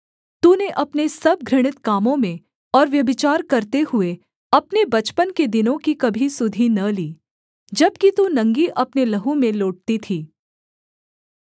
तूने अपने सब घृणित कामों में और व्यभिचार करते हुए अपने बचपन के दिनों की कभी सुधि न ली जबकि तू नंगी अपने लहू में लोटती थी